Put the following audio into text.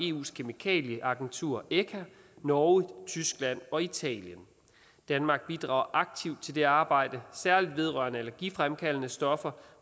eus kemikalieagentur echa norge tyskland og italien danmark bidrager aktivt til det arbejde særlig vedrørende allergifremkaldende stoffer